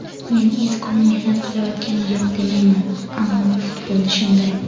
Men Iskoni mehnat qilayotgani yo‘q demayman, ammo futbol shunday.